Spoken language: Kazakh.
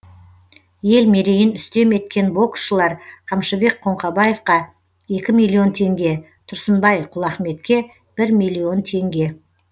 ел мерейін үстем еткен боксшылар қамшыбек қоңқабаевқа екі миллион теңге тұрсынбай құлахметке бір миллион теңге